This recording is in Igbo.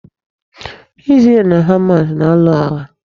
Isrel na Hamas na-alụ agha.